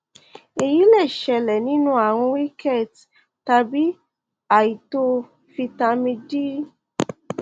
èyí lè ṣẹlẹ nínú ààrùn rickets tàbí àìtó fítámì d